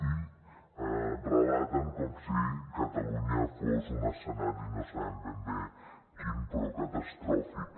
i relaten com si catalunya fos un escenari no sabem ben bé quin però catastròfic